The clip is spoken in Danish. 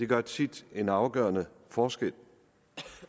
gør tit en afgørende forskel